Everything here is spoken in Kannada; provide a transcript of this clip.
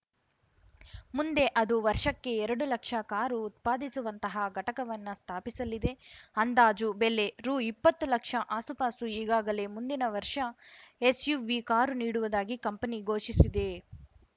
ಮುಂದೆ ಅದು ವರ್ಷಕ್ಕೆ ಎರಡು ಲಕ್ಷ ಕಾರು ಉತ್ಪಾದಿಸುವಂತಹ ಘಟಕವನ್ನು ಸ್ಥಾಪಿಸಲಿದೆ ಅಂದಾಜು ಬೆಲೆ ರುಇಪ್ಪತ್ತು ಲಕ್ಷ ಆಸುಪಾಸು ಈಗಾಗಲೇ ಮುಂದಿನ ವರ್ಷ ಎಸ್‌ಯುವಿ ಕಾರು ನೀಡುವುದಾಗಿ ಕಂಪನಿ ಘೋಷಿಸಿದೆ